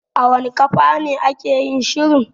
A wanna kafane ake yin shirin?